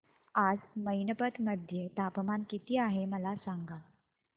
आज मैनपत मध्ये तापमान किती आहे मला सांगा